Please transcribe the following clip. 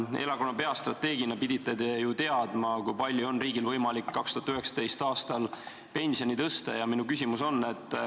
Erakonna peastrateegina te pidite ju teadma, kui palju on riigil võimalik 2019. aastal pensioni tõsta.